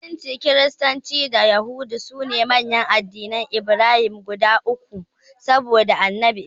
Musulunci, Kiristanci da Yahudanci sune manyan addinan Ibrahima guda uku saboda Annabi Ibrahim.